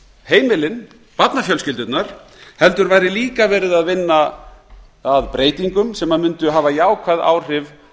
heimilin barnafjölskyldurnar heldur væri líka verið að vinna að breytingum sem mundu hafa jákvæð áhrif